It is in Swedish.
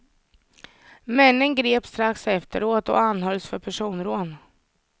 Männen greps strax efteråt och anhölls för personrån.